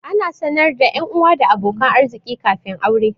Ana sanar da 'yanuwa da abokan arziƙi kafin aure.